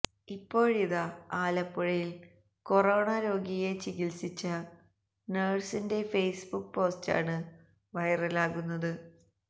ഇപ്പോഴിതാ ആലപ്പുഴയില് കൊറോണ രോഗിയെ ചികിത്സിച്ച നഴ്സിന്റെ ഫേസ്ബുക് പോസ്റ്റാണ് വൈറലാകുന്നത്